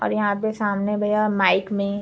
और यहाँ पे सामने भैया माइक में --